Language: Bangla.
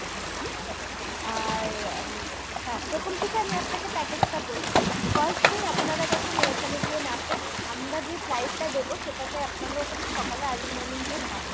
ঠিক আছে আর উম হ্যাঁ প্রথম থেকে আমি আপনাকে package টা বলছি first দিন আপনারা যখন ওইখানে গিয়ে নাববেন, আমরা যে flight টা দেবো সেটাতে আপনারা ওখানে সকালে early morning গিয়ে নাববেন